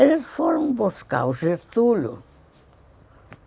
Eles foram buscar o Getúlio.